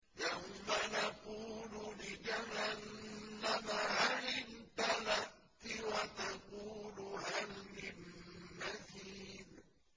يَوْمَ نَقُولُ لِجَهَنَّمَ هَلِ امْتَلَأْتِ وَتَقُولُ هَلْ مِن مَّزِيدٍ